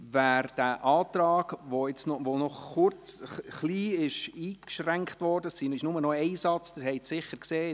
Wer den Antrag, der noch ein wenig eingeschränkt wurde – es gibt nur noch einen Satz, das haben Sie sicher gesehen;